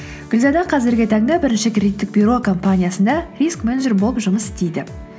гүлзада қазіргі таңда бірінші кредиттік бюро компаниясында риск менеджер болып жұмыс істейді